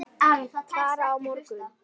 Klára á morgun.